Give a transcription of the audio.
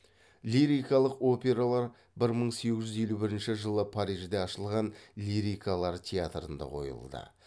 лирикалық опералар бір мың сегіз жүз елу бірінші жылы парижде ашылған лирикалар театрында қойылды